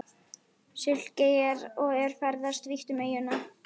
Sikileyjar og er ferðast vítt um eyjuna.